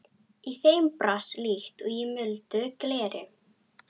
Í þeim brast líkt og í muldu gleri.